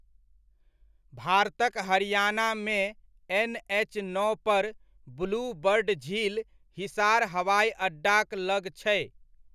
भारतक हरियाणा, मे एनएच नओ पर ब्लू बर्ड झील हिसार हवाइ अड्डाक लग छै।